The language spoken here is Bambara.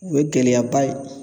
O ye gɛlɛyaba ye